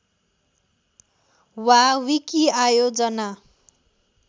वा विकिआयोजना